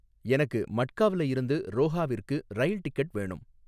எனக்கு மட்காவ்ல இருந்து ரோஹாவிற்கு ரயில் டிக்கெட் வேணும்